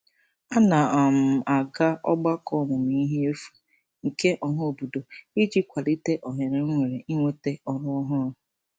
A na um m aga ọgbakọ ọmụmụihe efu nke ọhaobodo iji kwalite ohere m nwere inweta ọrụ ọhụrụ.